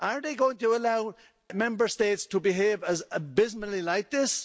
Are they going to allow Member States to behave abysmally like this?